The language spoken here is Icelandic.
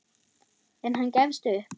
En hann gefst upp.